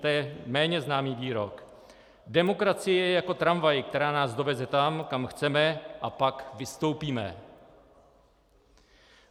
To je méně známý výrok: Demokracie je jako tramvaj, která nás doveze tam, kam chceme, a pak vystoupíme.